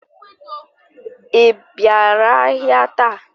I bịara ahịa taa?